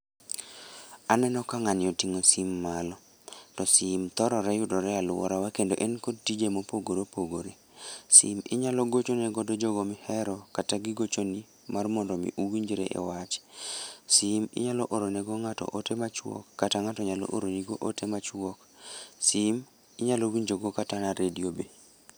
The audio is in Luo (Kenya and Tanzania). Aneno ka ng'ani oting'o sim malo, to sim thorore yudore alworawa kendo en kod tije mopogore opogore. Sim inyalo gochone godo jogo mihero kata gigochoni mar mondo mi uwinjru e wach. Sim inyalo oro ne go ng'ato ote machuok kata ng'ato nyalo oro ni go ote machuok. Sim inyalo winjo go kata na redio be.